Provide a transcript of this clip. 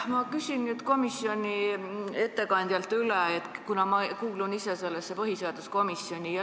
Ma küsin nüüd komisjoni ettekandjalt üle, kuna ma kuulun ise sellesse põhiseaduskomisjoni.